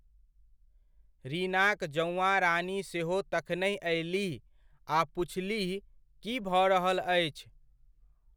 रीनाक जौआँ रानी सेहो तखनहि अयलीह, आ पुछलीह की भऽ रहल अछि?